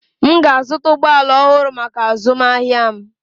M ga-azụta ụgbọ ala ọhụrụ maka azụmahịa m.